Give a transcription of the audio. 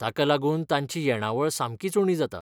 ताका लागून तांची येणावळ सामकीच उणी जाता.